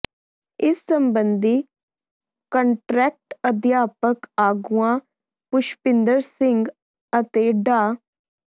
ਇਸ ਸਬੰਧੀ ਕੰਟਰੈਕਟ ਅਧਿਆਪਕ ਆਗੂਆਂ ਪੁਸ਼ਪਿੰਦਰ ਸਿੰਘ ਅਤੇ ਡਾ